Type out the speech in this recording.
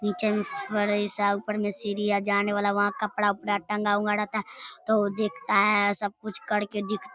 नीचें में फर्श आ ऊपर में सीढ़ियां जाने वाला वहां कपड़ा-ऊपरा टंगा हुआ रहता है तो वो देखता है सब कुछ करके दिख --